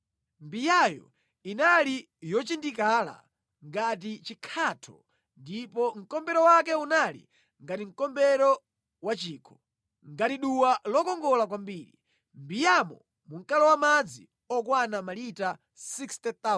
Mbiyayo inali yochindikala ngati chikhatho ndipo mkombero wake unali ngati mkombero wa chikho, ngati duwa lokongola kwambiri. Mʼmbiyamo munkalowa madzi okwana malita 60,000.